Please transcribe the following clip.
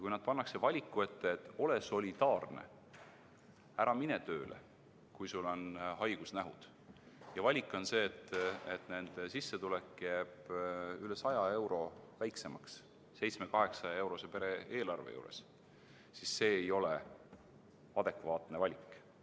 Kui nad pannakse valiku ette, et ole solidaarne, ära mine tööle, kui sul on haigusnähud, aga su sissetulek jääb üle 100 euro väiksemaks 700–800-eurose pere-eelarve juures, siis see ei ole adekvaatne valik.